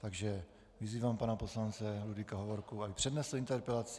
Takže vyzývám pana poslance Ludvíka Hovorku, aby přednesl interpelaci.